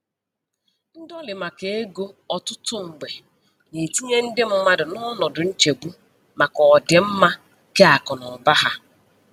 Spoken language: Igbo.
Ndọlị maka ego ọtụtụ mgbe na-etinye ndị mmadụ n'ọnọdụ nchegbu maka ọdịmma keakụnaụba ha.